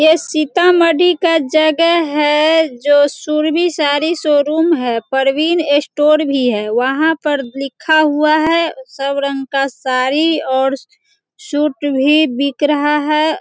ये सीतामढ़ी का जगह है जो सुरभि साड़ी शोरूम है प्रवीण स्टोर भी है वहां पर लिखा हुआ है सब रंग का साड़ी और सूट भी बिक रहा है।